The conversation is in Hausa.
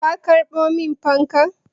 Ka karɓo min fankan?